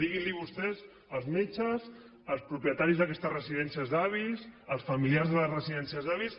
diguin vostès als metges als propietaris d’aquestes residències d’avis als familiars de les residències d’avis